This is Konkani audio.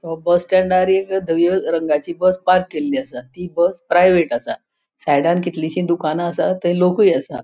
ह्यो बस स्टँडाचेर एक धवि रगाची बस पार्क केल्ली असा. ती बस प्राइवेट असा. सायंडान कितलीशी दुकाना आसात थंय लोकूय आसात.